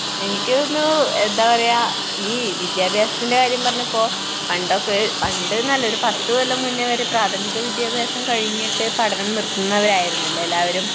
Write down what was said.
എനിക്ക് തോന്നുന്നു, എന്താ പറയുക, ഈ വിദ്യാഭ്യാസത്തിന്റെ കാര്യം പറഞ്ഞപ്പോൾ പണ്ടൊക്കെ പണ്ട് എന്നല്ല ഒരു പത്തുകൊല്ലം മുന്നേവരെ പ്രാഥമിക വ്ദ്യാഭ്യാസം കഴിഞ്ഞിട്ട് പഠനം നിർത്തുന്നവരായിരുന്നു അല്ലെ എല്ലാവരും?